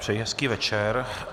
Přeji hezký večer.